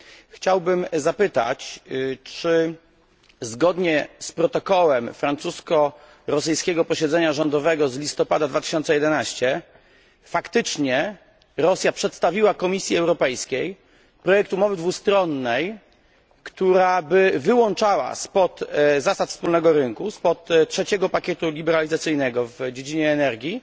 Chciałbym zapytać, czy zgodnie z protokołem francusko rosyjskiego posiedzenia rządowego z listopada 2011 r. Rosja faktycznie przedstawiła Komisji Europejskiej projekt umowy dwustronnej, która by wyłączała spod zasad wspólnego rynku spod trzeciego pakietu liberalizacyjnego w dziedzinie energii